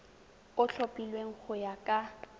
o tlhophilweng go ya ka